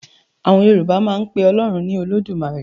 Àwọn Yorùbá máa ń pe Ọlọ́run ní 'Olódùmarè'.